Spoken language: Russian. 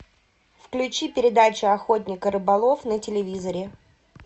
включи передачу охотник и рыболов на телевизоре